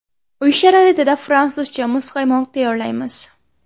Uy sharoitida fransuzcha muzqaymoq tayyorlaymiz.